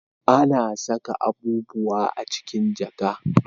A na saka abubuwa a cikin jaka